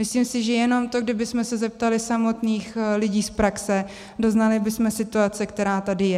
Myslím si, že jenom to, kdybychom se zeptali samotných lidí z praxe, doznali bychom situace, která tady je.